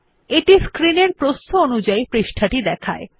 এটি স্ক্রিন এর প্রস্থ অনুযাই পৃষ্ঠা টি দেখায়